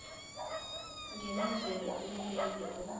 nginenzele ububele obunje